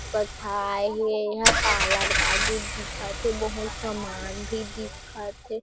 बथाए हे. यहाँ पार्लर वाली दिखत हे बहुत सामान भी दिखत हे।